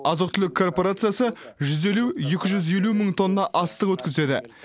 азық түлік корпорациясы жүз елу екі жүз елу мың тонна астық өткізеді